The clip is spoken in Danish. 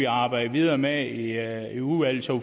arbejder videre med det i udvalget så